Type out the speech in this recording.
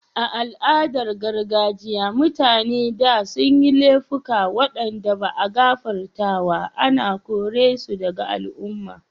A'aladan gargajiya, mutane da sun yi laifuka wanda ba'a gafartawa ana kore su daga al'umman.